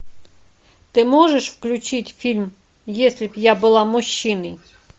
ты можешь включить фильм если б я была мужчиной